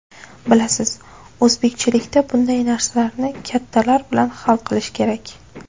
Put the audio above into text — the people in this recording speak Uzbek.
Bilasiz, o‘zbekchilikda bunday narsalarni kattalar bilan hal qilish kerak.